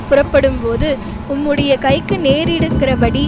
புறப்படும்போது உம்முடைய கைக்கு நேரிடுகிறபடி